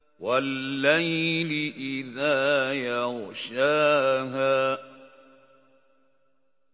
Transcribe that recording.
وَاللَّيْلِ إِذَا يَغْشَاهَا